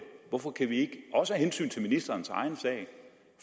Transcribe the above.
hvorfor kan vi ikke også af hensyn til ministerens egen sag